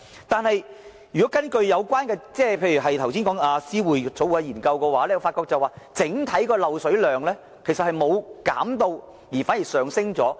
但是，根據剛才議員提到的思匯政策研究所的報告書，本港整體漏水量沒有減少，反見增加。